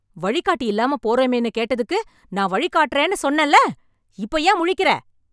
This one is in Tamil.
வழிகாட்டி இல்லாம போறோமேன்னு கேட்டதுக்கு, நான் வழி காட்டறேன்னு சொன்னேல... இப்போ ஏன் முழிக்கற...